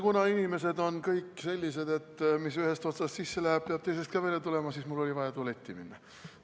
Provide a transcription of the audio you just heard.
Kuna inimesed on kõik sellised, et mis ühest otsast sisse läheb, peab teisest välja ka tulema, siis oli mul vaja tualetti minna.